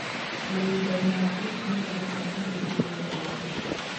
Mahinda mangĩ mũtaratara nĩ ũthiaga ũru